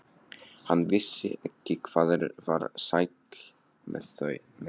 Hann vissi ekki hvað ég var sæll með það.